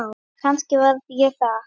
Og kannski var ég það.